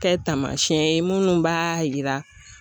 Kɛ tamasiyɛn ye munnu b'a yira.